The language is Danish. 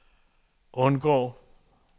undgå